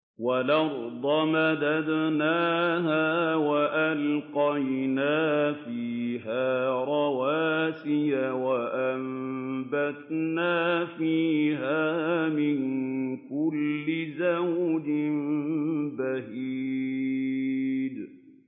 وَالْأَرْضَ مَدَدْنَاهَا وَأَلْقَيْنَا فِيهَا رَوَاسِيَ وَأَنبَتْنَا فِيهَا مِن كُلِّ زَوْجٍ بَهِيجٍ